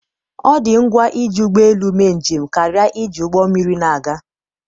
ọ dị ngwa iji ụgbọ elu mee njem karịa iji ụgbọ mmiri na-aga